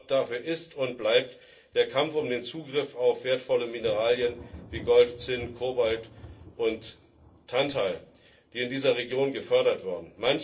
Hauptgrund dafür ist und bleibt der Kampf um den Zugriff auf wertvolle Mineralien wie Gold, Zinn, Kobalt und Tantal, die in dieser Region gefördert werden.